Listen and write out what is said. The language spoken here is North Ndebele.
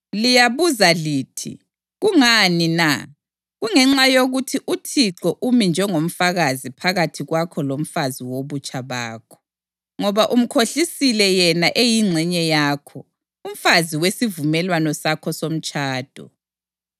Liyabuza lithi, “Kungani na?” Kungenxa yokuthi uThixo umi njengomfakazi phakathi kwakho lomfazi wobutsha bakho, ngoba umkhohlisile yena eyingxenye yakho, umfazi wesivumelwano sakho somtshado.